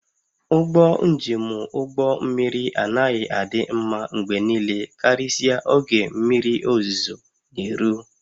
Ụgbọ njem ụgbọ mmiri anaghị adị mma mgbe niile karịsịa oge mmiri ozuzo na-eru